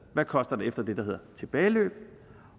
det koster efter det der hedder tilbageløb